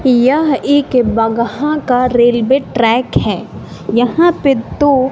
यह एक बगहा का रेलवे ट्रैक है यहां पे दो--